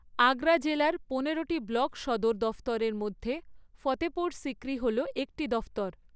আগ্রা জেলার পনেরটি ব্লক সদর দফতরের মধ্যে ফতেপুর সিক্রি হল একটি দফতর।